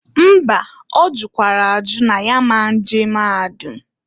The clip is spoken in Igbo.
Mba! Ọ jụkwara ajụ n' ya a ma nje maahadụm.